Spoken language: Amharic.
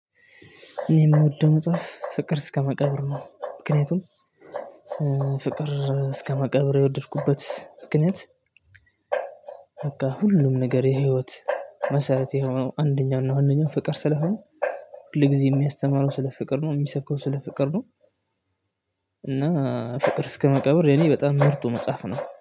እኔ የምወደው መጽሐፍ ፍቅር እስከ መቃብር ነው። ምክንያቱም ፍቅር እስከ መቃብር የወደድኩበት ምክንያት። በቃ ሁሉም ነገር የህይወት መሰረት የሆነው አንደኛው እና ዋነኛው ፍቅር ስለሆነ። ሁልጊዜ የሚያስተማረው ስለ ፍቅር ነው የሚሰብከው ስለ ፍቅር ነው። እና ፍቅር እስከመቃብር የኔ በጣም ምርጡ መጽሐፍ ነው